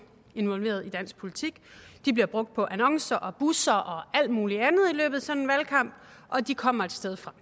involveret i dansk politik de bliver brugt på annoncer og busser og alt muligt andet i løbet af sådan en valgkamp og de kommer et sted fra